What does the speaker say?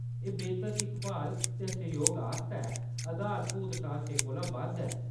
एह्‌‌ बेह्‌तर दिक्ख-भाल दे सैह्‌योग आस्तै आधारभूत ढांचे कोला बद्ध ऐ।